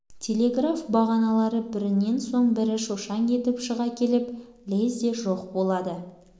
телеграф бағаналары бірінен соң бірі шошаң етіп шыға келіп лезде жоқ болады